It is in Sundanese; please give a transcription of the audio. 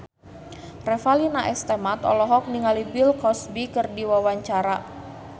Revalina S. Temat olohok ningali Bill Cosby keur diwawancara